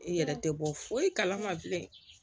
I yɛrɛ tɛ bɔ foyi kalama bilen